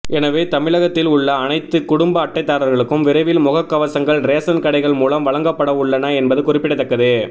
எனவே தமிழகத்தில் உள்ள அனைத்து குடும்ப அட்டைதாரர்களுக்கும் விரைவில் முகக்கவசங்கள் ரேசன் கடைகள் மூலம் வழங்கப்படவுள்ளன என்பது குறிப்பிடத்தக்கது